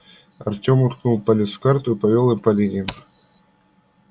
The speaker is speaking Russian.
артём уткнул палец в карту и повёл им по линиям